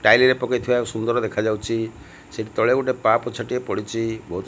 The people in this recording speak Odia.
ଟାଇଲି ରେ ପକେଇ ଥିବା ସୁନ୍ଦର ଦେଖାଯାଉଛି ସେ ତଳେ ଗୋଟେ ପା ପୋଛାଟିଏ ପଡିଛି।